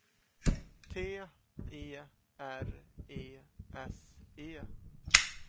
T E R E S E